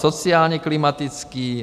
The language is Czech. Sociálně-klimatický.